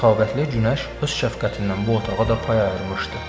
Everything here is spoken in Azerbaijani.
Səxavətli günəş öz şəfqətindən bu otağa da pay ayırmışdı.